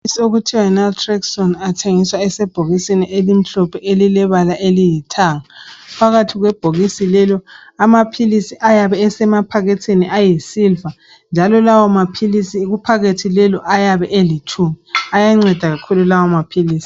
Amaphilisi okuthiwa Naltraxone. Athengiswa esebhokisini elimhlophe. Elilebala eliyithanga. Phakathi kwebhokisi lelo, amaphilisi ayabe esemaphaketheni ayisilver, njalo lawomaphilisi kuphakethe lelo, ayabe elitshumi. Ayanceda kakhulu lawomaphilisi.